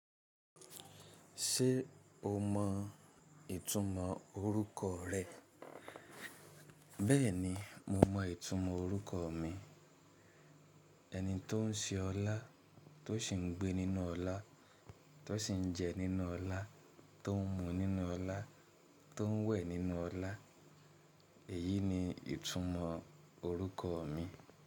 Ṣé o mọ ìtumọ̀ orúkọ rẹ? Bẹ́ẹ̀ni, mo mọ ìtumọ̀ orúkọ mi. Ẹni tó ń se ọlá, tó sì ń gbé nínú ọlá, tó sì ń jẹ nínú ọlá, tó ń mu nínú ọlá, tó ń wẹ̀ nínú ọlá. Èyí ni ìtumọ̀ orúkọ mi.